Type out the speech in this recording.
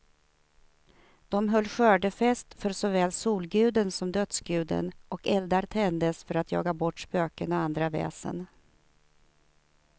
De höll skördefest för såväl solguden som dödsguden, och eldar tändes för att jaga bort spöken och andra väsen.